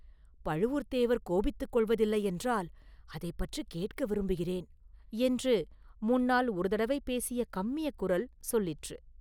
பழுவூர்த்தேவர் கோபித்துக் கொள்வதில்லையென்றால், அதைப் பற்றிக் கேட்க விரும்புகிறேன்!” என்று முன்னால் ஒரு தடவை பேசிய கம்மிய குரல் சொல்லிற்று.